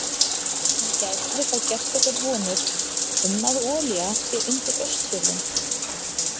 En gætum við þá gert okkur vonir um að olía sé undir Austfjörðum?